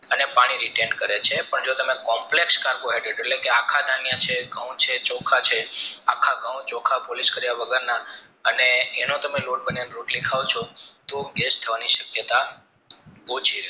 અને પાણી return કરે છે જો તમે complex carbohydrates એટલેકે કે આખા ધન્ય છે ઘાવ છે ચોખા છે આખા ઘાવ ચોખા polish કાર્ય વગરના અને એનો તમે લોટ બનાવીને રોટલી ખાવ ચો તો ગેસ થવાની શક્યતા ઓછી છે